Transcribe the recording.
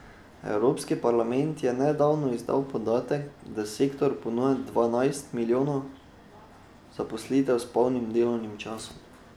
Evropski parlament je nedavno izdal podatek, da sektor ponuja dvanajst milijonov zaposlitev s polnim delovnim časom.